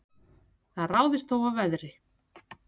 Það ráðist þó af veðri